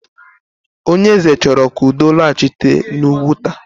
Onyeeze chọrọ ka udo lọghachi n'Ụgwuta.